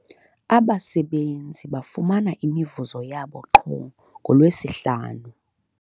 Abasebenzi bafumana imivuzo yabo qho ngoLwesihlanu.